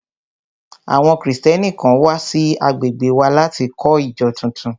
Àwọn Kristẹni kan wà sí agbègbè wa láti kọ́ ìjọ tuntun